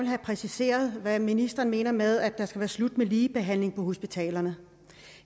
have præciseret hvad ministeren mener med at det skal være slut med ligebehandlingen på hospitalerne